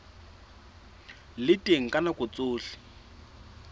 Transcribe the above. le teng ka nako tsohle